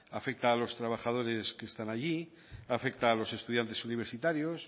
afecta a los trabajadores que están allí afecta a los estudiantes universitarios